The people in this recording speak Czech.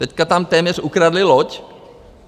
Teď tam téměř ukradli loď.